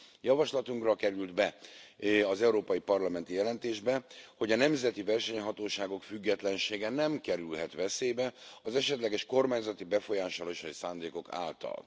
Javaslatunkra került be az európai parlamenti jelentésbe, hogy a nemzeti versenyhatóságok függetlensége nem kerülhet veszélybe az esetleges kormányzati befolyásolási szándékok által.